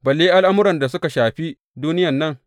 Balle al’amuran da suka shafi duniyan nan!